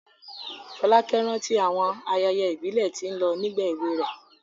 Folake rántí àwọn ayẹyẹ ìbílẹ̀ tí ó lọ nígbà èwe rẹ̀.